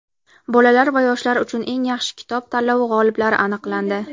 "Bolalar va yoshlar uchun eng yaxshi kitob" tanlovi g‘oliblari aniqlandi.